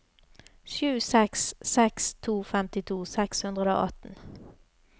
sju seks seks to femtito seks hundre og atten